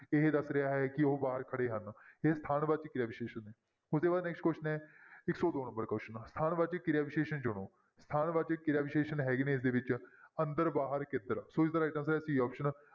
ਇਹ ਦੱਸ ਰਿਹਾ ਹੈ ਕਿ ਉਹ ਬਾਹਰ ਖੜੇ ਹਨ ਇਹ ਸਥਾਨ ਵਾਚਕ ਕਿਰਿਆ ਵਿਸ਼ੇਸ਼ਣ ਨੇ, ਉਹਦੇ ਬਾਅਦ next question ਹੈ ਇੱਕ ਸੌ ਦੋ number question ਸਥਾਨ ਵਾਚਕ ਕਿਰਿਆ ਵਿਸ਼ੇਸ਼ਣ ਚੁਣੋ, ਸਥਾਨ ਵਾਚਕ ਕਿਰਿਆ ਵਿਸ਼ੇਸ਼ਣ ਹੈਗੇ ਨੇ ਇਸਦੇ ਵਿੱਚ ਅੰਦਰ, ਬਾਹਰ, ਕਿੱਧਰ ਸੋ ਇਸਦਾ right answer ਹੈ c option